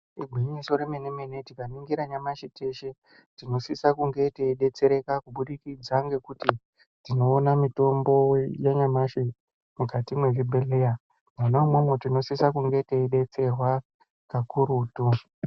Igwinyiso remene mene tikaningira nyamashi teshe tinosise kunge teidetsereka kubudikidza ngekuti tiona mitombo yanyamashi mukati mwezvibhedhlera. Mwona umwomwo tinosise kunge teidetserwa kakurutu.